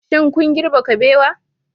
Shin kun girbe kabewa